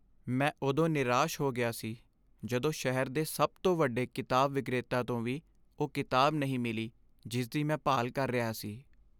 ਮੈਂ ਉਦੋਂ ਨਿਰਾਸ਼ ਹੋ ਗਿਆ ਸੀ ਜਦੋਂ ਸ਼ਹਿਰ ਦੇ ਸਭ ਤੋਂ ਵੱਡੇ ਕਿਤਾਬ ਵਿਕਰੇਤਾ ਤੋਂ ਵੀ ਉਹ ਕਿਤਾਬ ਨਹੀਂ ਮਿਲੀ ਜਿਸ ਦੀ ਮੈਂ ਭਾਲ ਕਰ ਰਿਹਾ ਸੀ।